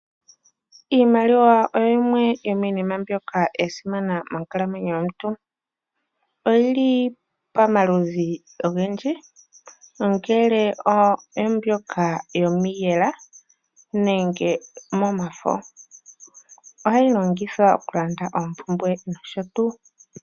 Iimaliwa oyo yimwe yomiinima yasimana moonkalamwenyo dhetu. Oyili pamaludhi ogendji , ongele oombyoka yomiiyela nenge momafo . Ohayi longithwa okulanda oompumbwe noshotuu.